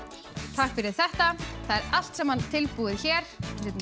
takk fyrir þetta það er allt saman tilbúið hér